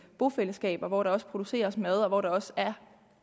bofællesskaber hvor der produceres mad og hvor der også er